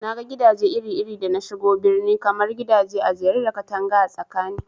Naga gidaje iri iri da nashigo birni, kamar gidaje ajere da katanga a tsakani